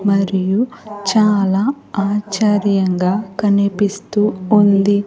మరియు చాలా ఆశ్చర్యంగా కనిపిస్తూ ఉంది.